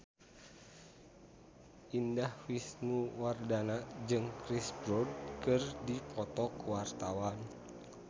Indah Wisnuwardana jeung Chris Brown keur dipoto ku wartawan